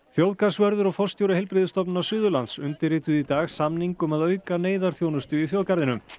þjóðgarðsvörður og forstjóri Heilbrigðisstofnunar Suðurlands undirrituðu í dag samning um að auka neyðarþjónustu í þjóðgarðinum